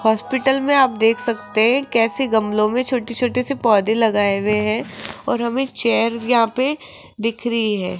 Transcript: Hospital में आप देख सकते हैं कैसे गमले में छोटे छोटे से पौधे लगाए हुए हैं और हमें चेयर यहां पे दिख रही है।